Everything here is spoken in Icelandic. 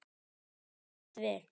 Þetta fór allt vel.